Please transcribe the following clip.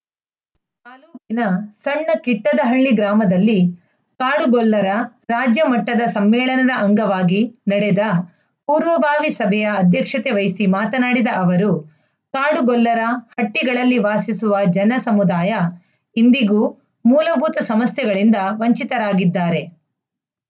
ಕಿನ ಸಣ್ಣ ಕಿಟ್ಟದಹಳ್ಳಿ ಗ್ರಾಮದಲ್ಲಿ ಕಾಡುಗೊಲ್ಲರ ರಾಜ್ಯ ಮಟ್ಟದ ಸಮ್ಮೇಳನದ ಅಂಗವಾಗಿ ನಡೆದ ಪೂರ್ವಭಾವಿ ಸಭೆಯ ಅಧ್ಯಕ್ಷತೆ ವಹಿಸಿ ಮಾತನಾಡಿದ ಅವರು ಕಾಡುಗೊಲ್ಲರ ಹಟ್ಟಿಗಳಲ್ಲಿ ವಾಸಿಸುವ ಜನ ಸಮುದಾಯ ಇಂದಿಗೂ ಮೂಲಭೂತ ಸಮಸ್ಯೆಗಳಿಂದ ವಂಚಿತರಾಗಿದ್ದಾರೆ